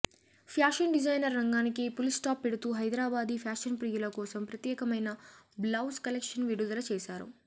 fashion designer రంగానికి full stop పెడుతూ Hyderabadi fashion ప్రియుల కోసం ప్రత్యేకమైన బ్లౌస్ కలెక్షన్స్ విడుదల చేశారు